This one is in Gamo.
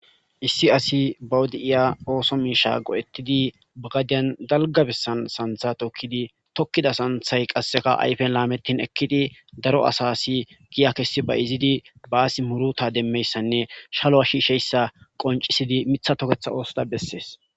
issi asi bawudi7iya ooso miisha go7ettidi bagadiyan dalga bessan santha tokkidi tokkida santhay qasseka ayfen laamettin ekkidi daro asa asi giya kessi ba izidi baasi muruta demmeyssanne shalo a shiisheyssa qoncisidi mitha toketha oosoda bessees